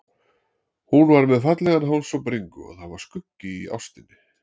Hún var með fallegan háls og bringu og það var skuggi í óstinni.